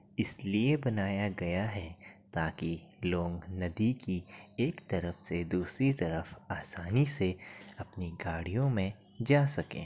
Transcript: इसलिए बनाया गया है ताकि लोंग नदी की एक तरफ से दूसरी तरफ आसानी से अपनी गडि़यों में जा सकें।